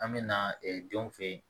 An bɛ na denw fen yen